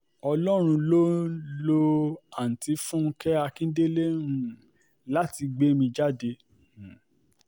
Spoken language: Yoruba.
ọlọ́run ló lo àǹtí fúnkẹ́ akíndélé um láti gbé mi jáde um